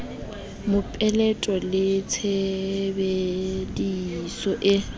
mopeleto le tshebedi so e